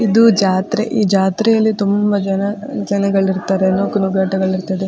ಇದು ಜಾತ್ರೆ ಈ ಜಾತ್ರೆಯಲ್ಲಿ ತುಂಬ ಜನ ಜನಗಳು ಇರ್ತಾರೆ ನೂಕುನಗ್ಗಾಟಗಳಿರ್ತದೆ.